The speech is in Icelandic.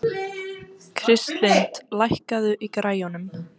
Kristlind, lækkaðu í græjunum.